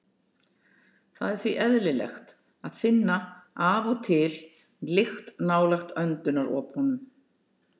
Það er því eðlilegt að finna af og til lykt nálægt öndunaropunum.